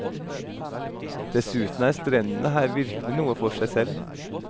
Dessuten er strendene her virkelig noe for seg selv.